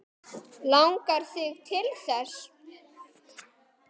Langar þig til þess?